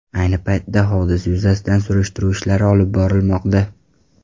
Ayni paytda hodisa yuzasidan surishtiruv ishlari olib borilmoqda.